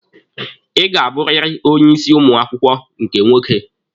Ị ga-abụrịrị onye isi ụmụ akwụkwọ nke nwoke?